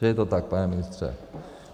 Že je to tak, pane ministře?